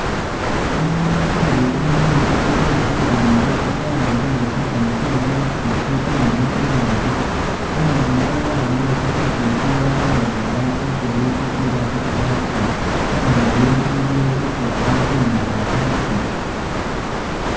Umunu uli umusungu uwibimbilile wa'ambile kumukhono kwewe khu'laptop imuli iburangisi umunu yuuno wa'ambile tsi' headset wabelenga ara mukhuru tsitsile paka khu'laptop, umunuyu iliyo byesi alikhumina khu'laptop